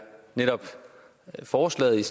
forslaget